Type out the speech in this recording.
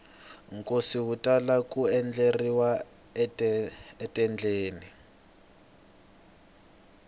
nkosi wu tala ku endleriwa etendeni